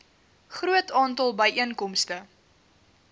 groot aantal byeenkomste